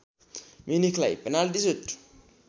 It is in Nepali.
म्युनिखलाई पेनल्टि सुट